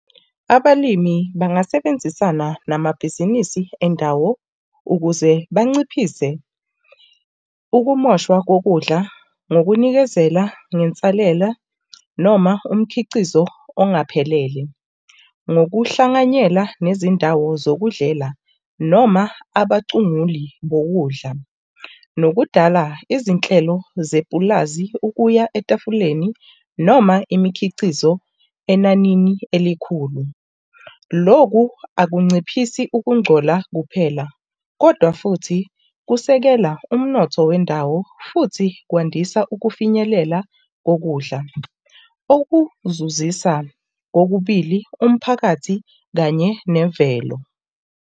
Abalimi bangasebenzisana namabhizinisi endawo ukuze banciphise ukumoshwa kokudla nokunikezela nensalela noma umkhicizo okungaphelele. Ngokuhlanganyela nezindawo zokudlela noma abacunguli bokudla nokudala izinhlelo zepulazi ukuya etafuleni noma imikhiqizo enanini elikhulu. Loku akunciphisi ukungcola kuphela kodwa futhi kusekela umnotho wendawo futhi kwandisa ukufinyelela kokudla, okuzuzisa kokubili, umphakathi kanye nemvelo.